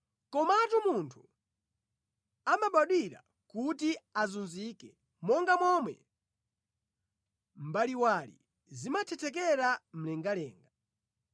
Komatu munthu amabadwira kuti azunzike monga momwe mbaliwali zimathethekera mlengalenga.